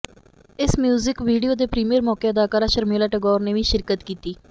ਇਸ music video ਦੇ premiere ਮੌਕੇ ਅਦਾਕਾਰਾ ਸ਼ਰਮੀਲਾ ਟੈਗੋਰ ਨੇ ਵੀ ਸ਼ਿਰਕਤ ਕੀਤੀ